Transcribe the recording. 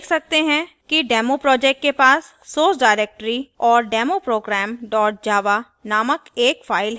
हम देख सकते हैं कि डेमो प्रोजेक्ट के पास source directory और demo program java नामक एक file है